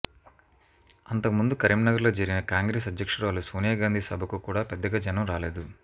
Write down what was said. అంతకు ముందు కరీంనగర్లో జరిగిన కాంగ్రెసు అధ్యక్షురాలు సోనియా గాంధీ సభకు కూడా పెద్దగా జనం రాలేదు